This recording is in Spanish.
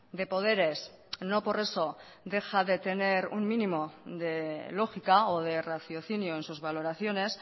de poderes no por eso deja de tener un mínimo de lógica o de raciocinio en sus valoraciones